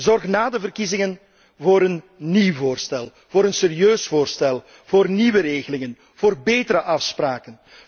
Zorg na de verkiezingen voor een nieuw voorstel, voor een serieus voorstel, voor nieuwe regelingen, voor betere afspraken.